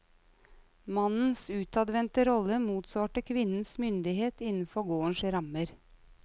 Mannens utadvendte rolle motsvarte kvinnens myndighet innenfor gårdens rammer.